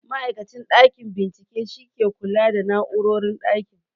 Ma'aikacin ɗakin bincike shi ke kula da na'urorin ɗakin